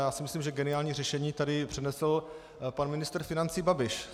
Já si myslím, že geniální řešení tady přednesl pan ministr financí Babiš.